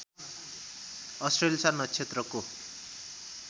अश्लेषा नक्षत्रको